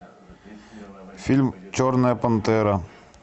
фильм черная пантера